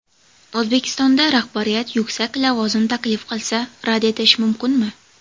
O‘zbekistonda rahbariyat yuksak lavozim taklif qilsa, rad etish mumkinmi ?